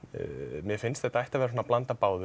mér finnst að þetta ætti að vera svona blanda af báðu